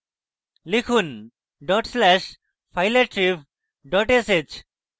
লিখুন dot slash fileattrib dot sh